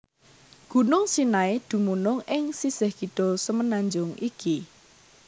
Gunung Sinai dumunung ing sisih kidul semenanjung iki